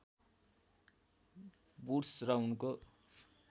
Wood's र उनको